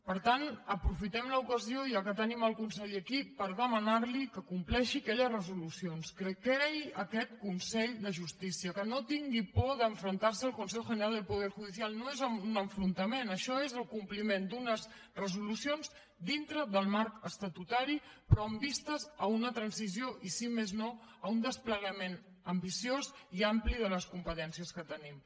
per tant aprofitem l’ocasió ja que tenim el conseller aquí per demanar li que compleixi aquelles resolucions que creï aquest consell de justícia que no tingui por d’enfrontar se al consejo general del poder judicial no és un enfrontament això és el compliment d’unes resolucions dintre del marc estatutari però amb vistes a una transició i si més no a un desplegament ambiciós i ampli de les competències que tenim